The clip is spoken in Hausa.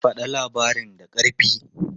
Faɗa labarin da ƙarfi!